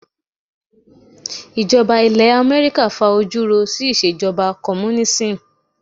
Ìjọba ilẹ̀ Amẹ́ríkà fa ojú ro sí ìṣèjọba Kọ́múnínísì.